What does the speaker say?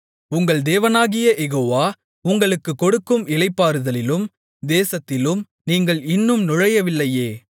உங்கள் தேவனாகிய யெகோவா உங்களுக்குக் கொடுக்கும் இளைப்பாறுதலிலும் தேசத்திலும் நீங்கள் இன்னும் நுழையவில்லையே